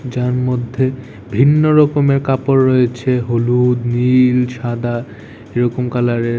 যার মধ্যে ভিন্ন রকমে কাপড় রয়েছে হলুদ নীল সাদা এরকম কালার এর।